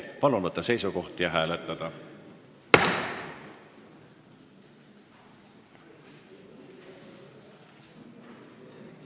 Palun võtta seisukoht ja hääletada!